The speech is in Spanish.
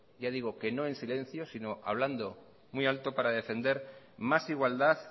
que no en silencio sino hablando muy alto para defender más igualdad